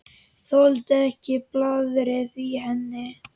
Þoldi ekki blaðrið í henni.